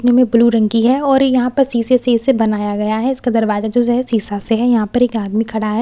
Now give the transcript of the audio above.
नमें ब्‍लू रंग की है और यहां पर शीशे से इसे बनाया गया है इसका दरवाजा जो है शीशा से है यहां पर एक आदमी यहां खड़ा है ।